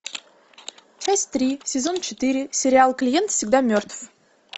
часть три сезон четыре сериал клиент всегда мертв